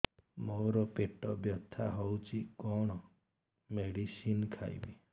ମୋର ପେଟ ବ୍ୟଥା ହଉଚି କଣ ମେଡିସିନ ଖାଇବି